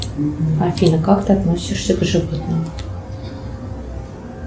афина как ты относишься к животным